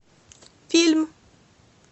фильм